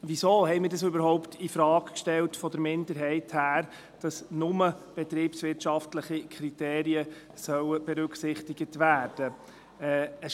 Weshalb haben wir von der Minderheit überhaupt infrage gestellt, dass nur betriebswirtschaftliche Kriterien berücksichtigt werden sollen?